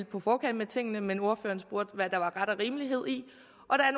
på forkant med tingene men ordføreren spurgte hvad der var ret og rimelighed i